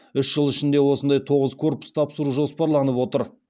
үш жыл ішінде осындай тоғыз корпус тапсыру жоспарланып отыр